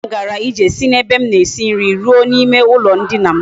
Nwa m gara ije si na ebe m na esi nri ruo na ime ulo ndina m